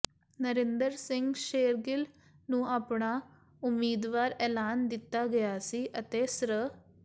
ਨਰਿੰਦਰ ਸਿੰਘ ਸ਼ੇਰਗਿਲ ਨੂੰ ਆਪਣਾ ਉਮੀਦਵਾਰ ਐਲਾਨ ਦਿੱਤਾ ਗਿਆ ਸੀ ਅਤੇ ਸ੍ਰ